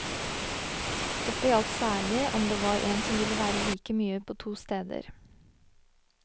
Dette gjaldt særlig om det var en som ville være like mye på to steder.